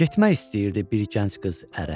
Getmək istəyirdi bir gənc qız ərə.